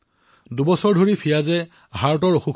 ফিয়াজে দুবছৰলৈ হৃদৰোদগৰ সৈতে যুঁজি থাকিল